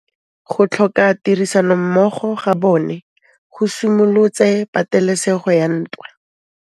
Go tlhoka tirsanommogo ga bone go simolotse patêlêsêgô ya ntwa.